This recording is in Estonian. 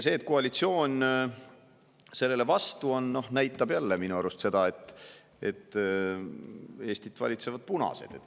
See, et koalitsioon selle vastu on, näitab minu arust jälle seda, et Eestit valitsevad punased.